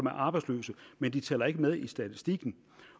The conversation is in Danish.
er arbejdsløse men de tæller ikke med i statistikken